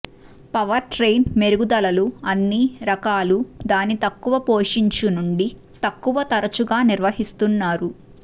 powertrain మెరుగుదలలు అన్ని రకాల దాని తక్కువ పోషించు నుండి తక్కువ తరచుగా నిర్వహిస్తున్నారు